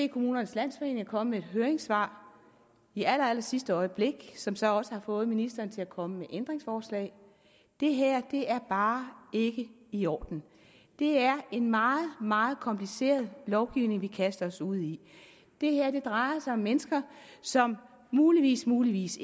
kommunernes landsforening er kommet med et høringssvar i allerallersidste øjeblik som så også har fået ministeren til at komme med ændringsforslag det her er bare ikke i orden det er en meget meget kompliceret lovgivning vi kaster os ud i det her drejer sig om mennesker som muligvismuligvis